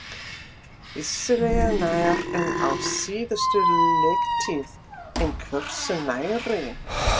Vissulega nær en á síðustu leiktíð, en hversu nærri?